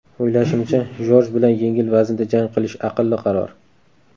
O‘ylashimcha, Jorj bilan yengil vaznda jang qilish aqlli qaror.